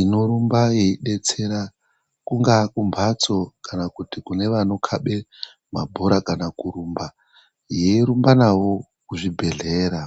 inorumba yeidetsera kungaa kumhatso kana kuti Kune vanokabe mabhorakana kurumba yeirumba navo kuzvibhedhlera.